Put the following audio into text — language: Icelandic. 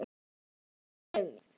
Æ, góða Sif mín!